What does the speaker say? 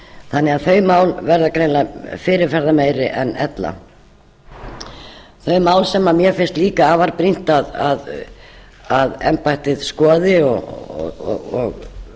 þannig að það mál verða greinilega fyrirferðarmeiri en ella þau mál sem mér finnst líka afar brýnt að embættið skoði og